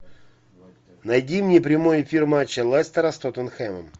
найди мне прямой эфир матча лестера с тоттенхэмом